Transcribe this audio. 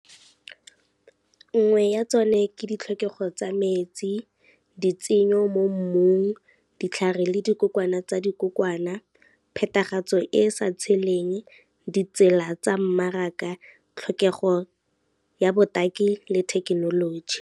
Nngwe ya tsone ke ditlhokego tsa metsi, di tsenyo mo mmung, ditlhare le dikokwana tsa dikokwana, phetagatso e e sa tsheleng, ditsela tsa mmaraka, tlhokego ya botaki le thekenoloji.